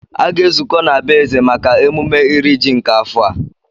Aga-ezukọ na be eze maka emume iri ji nke afọ a